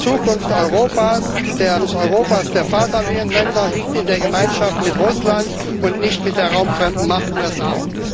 Die Zukunft Europas eines Europas der Vaterländer liegt in der Gemeinschaft mit Russland und nicht mit der raumfremden Macht USA.